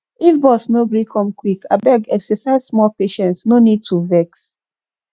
if bus no gree come quick abeg exercise small patience no need to vex